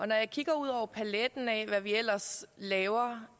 når jeg kigger ud over paletten af hvad vi ellers laver